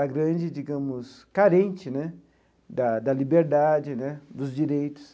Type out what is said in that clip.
a grande, digamos, carente né da da liberdade né, dos direitos.